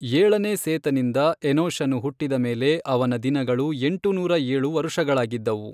ಏಳನೇ ಸೇತನಿಂದ ಎನೋಷನು ಹುಟ್ಟಿದ ಮೇಲೆ ಅವನ ದಿನಗಳು ಎಂಟುನೂರ ಏಳು ವರುಷಗಳಾಗಿದ್ದವು.